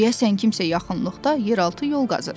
Deyəsən kimsə yaxınlıqda yeraltı yol qazır,